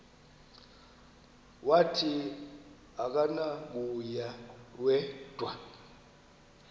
wathi akunakuya wedw